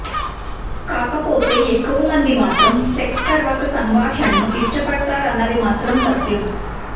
కాకపోతే ఎక్కువ మంది మాత్రం సెక్స్ తర్వాత సంభాషణను ఇష్టపడతారన్నది మాత్రం సత్యం